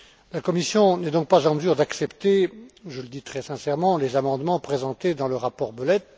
La Commission n'est donc pas en mesure d'accepter, je le dis très sincèrement, les amendements présentés dans le rapport Belet.